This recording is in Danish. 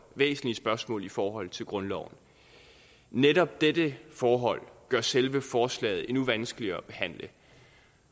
væsentlige spørgsmål i forhold til grundloven netop dette forhold gør selve forslaget endnu vanskeligere at behandle